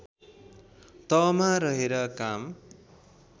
तहमा रहेर काम